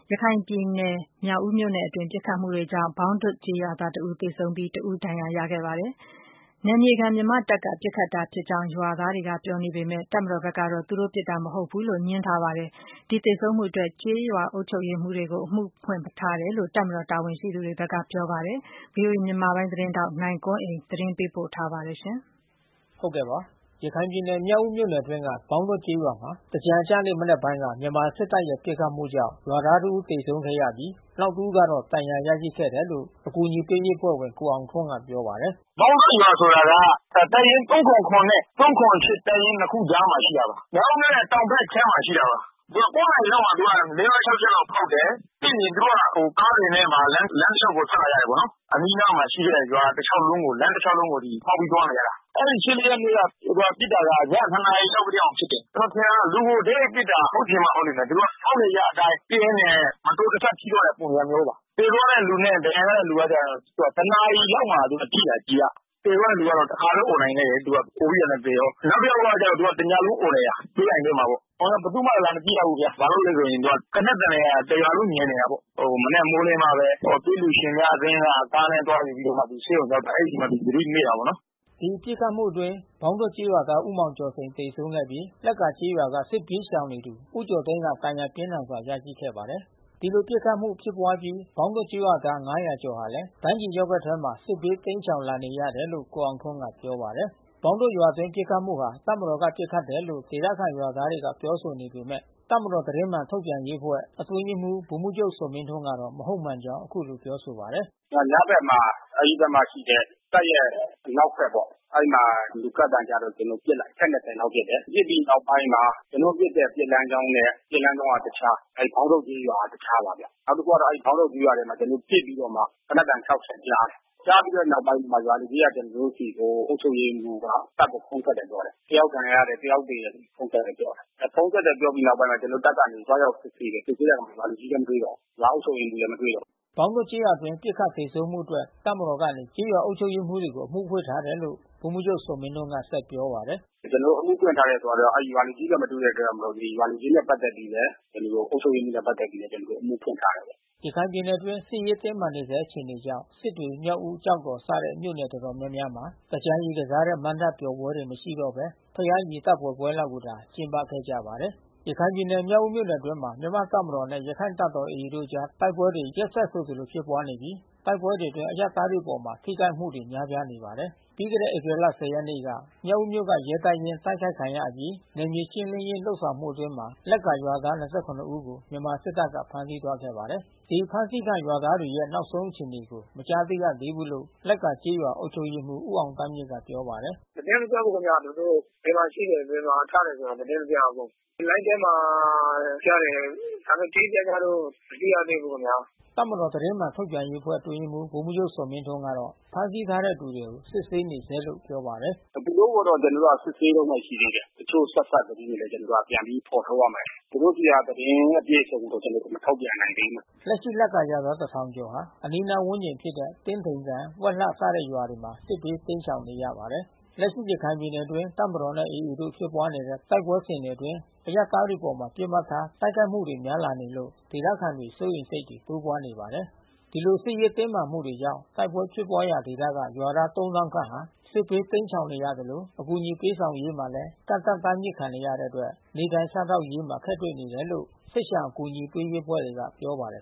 ရခိုင်ပြည်နယ် မြောက်ဦးမြို့နယ်မှာ ပစ်ခတ်မှုတွေကြောင့် သင်္ကြန်အကျနေ့ မနက်ဘက်မှာ ဘောင်းဒွတ်ကျေးရွာသား တဦးသေဆုံးပြီး တဦးဒဏ်ရာ ရရှိခဲ့ပါတယ်။ ဒီပစ်ခတ်မှုဟာ နယ်မြေခံမြန်မာ့တပ်က ပစ်ခတ်တယ်လို့ ရွာသားတွေ ပြောနေပေမဲ့ တပ်မတော်ဘက်ကတော့ သူတို့ပစ်ခတ်တာ မဟုတ်ဘူးလို့ ပြောဆိုပါတယ်။ ဒီပစ်ခတ်သေဆုံးမှုအတွက် ကျေးရွာအုပ်ချုပ်ရေးမှူးတွေကို အမှုဖွင့်ထားတယ်လို့ တပ်မတော် တာဝန်ရှိသူတွေက ပြောပါတယ်။ ဗွီအိုအေမြန်မာပိုင်း သတင်းထောက် နိုင်ကွန်းအိန်ကနေ သတင်းပေးပို့ထားပါတယ်။ ရခိုင်ပြည်နယ် မြောက်ဦးမြို့နယ်အတွင်းက ဘောင်းဒွတ်ကျေးရွာမှာ သင်္ကြန်အကျနေ့ မနက်ပိုင်းက မြန်မာစစ်တပ်ရဲ့ ပစ်ခတ်မှုကြောင့် ရွာသားတဦး သေဆုံးခဲ့ရပြီး နောက်တဦးကတော့ ဒဏ်ရာရရှိခဲ့တယ်လို့ အကူညီပေးရေးအဖွဲ့ဝင် ကိုအောင်ထွန်းက ပြောပါတယ်။ “ဘောင်းဒွတ်ရွာဆိုတာက တပ်ရင်း နဲ့ တပ်ရင်း ၂ ခုကြားမှာ ရှိပါတယ်။ မြောက်ဦးမြို့ရဲ့ တောင်ဖက်ခြမ်းမှာ ရှိတာပါ။ ည နာရီလောက်မှာ ၄၊ ၅၊ ၆ ချက်လောက် ဖေါက်တယ်။ ပြီးရင်သူတို့က ကားတွေနဲ့ဘာလဲ လမ်းတလျှောက်ကို ထွက်လာကြတယ်နော်။ အနီးနားမှာရှိတဲ့ ရွာတလျှောက်လုံးကို လမ်းတလျှောက်လုံးကို ဖေါက်ပြီးသွားနေကြတာ။ အဲဒီ ရက်နေ့က ပစ်တာက ည နာရီလောက်ကတည်းက ဖြစ်တယ်။ ကျနော်ထင်တာက လူကို တိုက်၊ ရိုက်ပစ်တယ်။ ဟုတ်ချင်မှ ဟုတ်လိမ့်မယ်။ သူတို့က ဖေါက်နေကျအတိုင်းပစ်ရင်းနဲ့ မတော်တဆထိသွား တဲ့ပုံစံမျိုးပါ။ သေသွားတဲ့ လူနဲ့ဒဏ်ရာရတဲ့ လူကကျတော့ နာရီလောက်မှာထိတာ ကျည်က။ သေသွားတဲ့သူက တခါပဲ အော်နိုင်ခဲ့တယ် သူက။ အော်ပြီးတာနဲ့ သေရော။ နောက်တယောက်ကျတော့ သူကတညလုံး အော်နေတာ။ သွေးအိုင်ထဲမှာပေါ့။ အော်လည်း ဘယ်သူမှ လာမကြည့်ကြဘူး။ ဘာလို့လဲဆိုရင် သေနတ်သံတွေက တရွာလုံး ညံနေတာပေါ့။ မနက်မိုးလင်းမှပဲ သွေးလှူရှင်များအသင်း ကားနဲ့သွားနေပြီးမှ ဆေးရဲူ ရောက်ပါတယ်။ အဲဒီမှာ သူသတိ မေ့တာပေါ့နော်။” ဒီပစ်ခတ်မှုအတွင်း ဘောင်းဒွတ်ကျေးရွာသား ဦးမောင်ကျော်စိန် သေဆုံးခဲ့ပြီး လက္ကာကျေးရွာက စစ်ပြေးရှောင်နေသူ ဦးကျော်သိန်း ဒဏ်ရာ ပြင်းထန်စွာ ရရှိခဲ့ပါတယ်။ ဒီလိုပစ်ခတ်မှု ဖြစ်ပွါးအပြီး ဘောင်းဒွတ်ကျေးရွာသား ကျော်ဟာလည်း ဒိုင်းကျီရပ်ကွက်ထဲ စစ်ဘေး တိမ်းရှောင်လာနေရတယ်လို့ ကိုအောင်ထွန်းက ပြောပါတယ်။ ဘောင်းဒွတ်ရွာအတွင်း ပစ်ခတ်မှုဟာ တပ်မတော်က ပစ်ခတ်တယ်လို့ ဒေသခံရွာသားတွေက ပြောဆိုနေပေမဲ့ တပ်မတော် သတင်းမှန် ထုတ်ပြန်ရေးအဖွဲ့ အတွင်းရေးမှူး ဗိုလ်မှူးချုပ် ဇော်မင်းထွန်းကတော့ မဟုတ်မှန်ကြောင်း အခုလို ပြောဆိုပါတယ်။ “ညဘက်မှာ အဲဒီဘက်မှာရှိတဲ့ တပ်ရဲ့ အနောက်ဘက်ပေါ့။ အဲဒီမှာ လူကပ်သံကြားလို့ ကျနော်တို့ ပစ်လိုက်တယ်။ အချက် လောက် ပစ်တယ်။ ပစ်ပြီးနောက်ပိုင်းမှာ ကျနော်တို့ပစ်တဲ့ ပစ်လမ်းကြောင်းနဲ့ ပစ်လမ်းကြောင်းက တခြား။ ဘောင်ဒွတ်ကျေးရွာက တခြားပါဗျ။ နောက်တခုအဲဒီ ဘောင်းဒွတ်ကျေးရွာထဲမှာ ကျနော်တို့ပစ်ပြီးတော့မှ သေနတ်သံ ချက်ကြားတယ်။ ကြားပြီးတဲ့နောက်ပိုင်းမှာ ရွာလူကြီးက ကျနော်တို့ဆီကို အုပ်ချုပ်ရေးမှူးက တပ်ကို ဖုန်းဆက်တယ်လို့ ပြောတယ်။ တယောက်ဒဏ်ရာရတယ်၊ တယောက်သေတယ်၊ ဖုန်းဆက်တယ်ပြောတယ်။ ဖုန်းဆက်တယ်... ပြောပြီးနောက်ပိုင်းမှာ ကျနော်တို့တပ်ကနေ သွားရောက်စစ်ဆေးတယ်။ စစ်ဆေးတဲ့အခါ ရွာလူကြီးလည်း မတွေ့တော့ဘူး။ ရွာအုပ်ချုပ်ရေးမှူးလည်း မတွေ့တော့ဘူး။” ဘောင်းဒွတ်ကျေးရွာအတွင်း ပစ်ခတ်သေဆုံးမှုအတွက် တပ်မတော်ကနေ ကျေးရွာအုပ်ချုပ်ရေးမှူးကို အမှုဖွင့်ထားတယ်လို့ ဗိုလ်မှူးချုပ်ဇော်မင်းထွန်းက ဆက်ပြောပါတယ်။ “ကျနော်တို့ အမှုဖွင့်ထားတယ်ဆိုတာက အဲဒီရွာလူကြီးနဲ့ မတွေ့တဲ့ကြောင့်မို့လို့ ဒီရွာလူကြီးနဲ့ ပက်သက်ပြီးလည်း အုပ်ချုပ်ရေးမှူးနဲ့ ပက်သက်ပြီးလည်း ကျနော်တို့ အမှုဖွင့်ထားတယ်ပေါ့။” ရခိုင်ပြည်နယ်အတွင်း စစ်ရေးတင်းမာနေဆဲ အခြေအနေကြောင့် စစ်တွေ မြောက်ဦး၊ ကျောက်တော်စတဲ့ မြို့နယ်တော်တော်များများမှာ သင်္ကြန်ရေကစားကြတဲ့ မဏ္ဍပ်ပျော်ပွဲတွေ မရှိတော့ဘဲ ဘုရားရေသပ္ပာယ်ပွဲကိုသာ ကျင်းပခဲ့ကြပါတယ်။ ရခိုင်ပြည်နယ် မြောက်ဦးမြို့နယ် အတွင်းမှာ မြန်မာ့တပ်မတော်နဲ့ ရခိုင့်တပ်တော် AA တို့အကြား တိုက်ပွဲတွေ ရက်ဆက်ဆိုသလို ဖြစ်ပွါးနေပြီး တိုက်ပွဲတွေအတွင်း အရပ်သားတွေအပေါ် ထိခိုက်မှုတွေ များပြားနေပါတယ်။ ပြီးခဲ့တဲ့ ဧပြီလ ရက်နေ့က မြောက်ဦးမြို့က ရဲတပ်ရင်း တိုက်ခိုက်ခံရအပြီး နယ်မြေရှင်းလင်းရေး ဆောင်ရွက်မှုအတွင်း လက္ကာရွာသား ဦးကို မြန်မာစစ်တပ်က ဖမ်းဆီးသွားခဲ့ပါတယ်။ ဒီအဖမ်းဆီးခံ ရွာသားတွေတွေရဲ့ နောက်ဆုံးအခြေအနေကို မကြားသိရသေးဘူးလို့ လက်ကာကျေးရွာ အုပ်ချုပ်ရေးမှူး ဦးအောင်သန်းမြင့်က ပြော ပါတယ်။ “သတင်းမကြားဘူး ခင်ဗျာ။ သူတို့ဘယ်မှာရှိတယ်၊ ဘယ်မှာချတယ်ဆို သတင်းမကြားရဘူး။ လိုင်းထဲမှာကြားတယ်။ ဒါပေမဲ့ တိတိကျကျတော့ မတွေ့ရသေးဘူး ခင်ဗျာ။” တပ်မတော်သတင်းမှန်ထုတ်ပြန်ရေးအဖွဲ့အတွင်းရေးမှူး ဗိုလ်မှူးချုပ် ဇော်မင်းထွန်းကတော့ ဖမ်းဆီးထားတဲ့သူတွေ ကို စစ်ဆေးနေဆဲလို့ ပြောပါတယ်။ “သူတို့ကိုတော့ ကျနော်တို့ စစ်ဆေးတုန်းပဲ ရှိသေးတယ်။ တချို့ဆက်စပ် သတင်းတွေလည်း ကျနော်တို့ပြန်ပြီး ဖေါ်ထုတ်ရပါမယ်။ သူတို့ဆီက သတင်းအပြည့်စုံကို ကျနော်တို့ မထုတ်ပြန်နိုင်သေးဘူး။ လက်ရှိလက်ကာရွာသား ကျော်ဟာ အနီးနားဝန်းကျင်ဖြစ်တဲ့ တင်းထိန်ကန် ဝက်လှအစရှိတဲ့ ရွာတွေမှာ စစ်ဘေး တိမ်းရှောင်နေရပါတယ်။ လက်ရှိ ရခိုင်ပြည်နယ်အတွင်း တပ်မတော်နဲ့ AA တို့ဖြစ်ပွါးတဲ့ တိုက်ပွဲစဉ်တွေအတွင်း အရပ်သားတွေအပေါ် ပစ်မှတ်ထား တိုက်ခိုက်မှုတွေများလာနေလို့ ဒေသခံတွေ စိုးရိမ်စိတ်တွေ တိုးပွါးနေပါတယ်။ ဒီလိုစစ်ရေး တင်းမာနေမှုကြောင့် တိုက်ပွဲဖြစ်ပွါးရာ ဒေသက ရွာသား ခန့် စစ်ဘေးတိမ်းရှောင်နေရသလို အကူညီ ပေးဆောင်ရေးမှာလည်း ကန့်သတ် တားမြစ်ခံနေရတဲ့အတွက် နေထိုင်စားသောက်ရေးမှာ အခက်တွေ့နေတယ်လို့ စစ်ရှောင် အကူညီပေး အဖွဲ့တွေကပြောပါတယ်